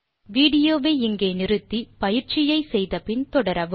விடியோவை இங்கே இடைநிறுத்தி கொடுத்த பயிற்சியை செய்ய முயற்சி செய்து பின் தொடரவும்